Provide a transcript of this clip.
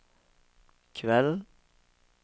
kveld